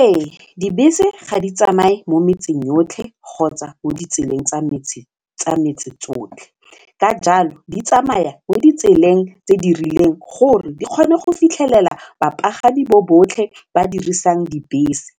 Ee dibese ga di tsamaye mo metseng yotlhe kgotsa mo ditseleng tsa metse tsotlhe ka jalo di tsamaya mo ditseleng tse di rileng gore di kgone go fitlhelela bapagami bo botlhe ba dirisang dibese